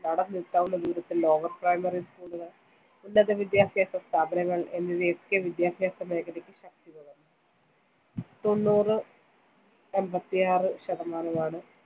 നടന്നു എത്താവുന്ന ദൂരത്തിൽ lower primary school കൾ, ഉന്നത വിദ്യാഭ്യാസ സ്ഥാപനങ്ങൾ എന്നിവയൊക്കെ വിദ്യാഭ്യാസ മേഖലക്ക്‌ ശക്തി പകർന്നു. തൊണ്ണൂറ് എൺപത്തിയാറു ശതമാനമാണ്‌